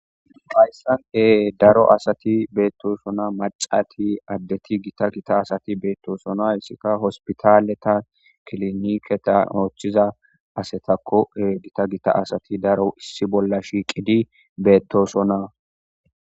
Qayssane daro asati beettosona macati addeti gita gita asati beettosona hessika hospitaleta kiliniketa ooththiza asetakkoe gita gita asati daro issi bolla shiiqidi beettosona.